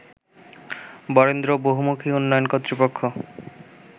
বরেন্দ্র বহুমুখীউন্নয়ন কর্তৃপক্ষ